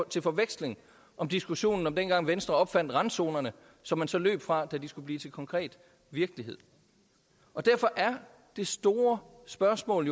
til forveksling om diskussionen dengang venstre opfandt randzonerne som man så løb fra da de skulle blive til konkret virkelighed derfor er det store spørgsmål